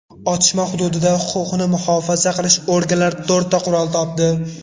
Otishma hududida huquqni muhofaza qilish organlari to‘rtta qurol topdi.